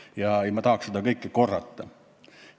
Ma ei tahaks seda kõike korrata.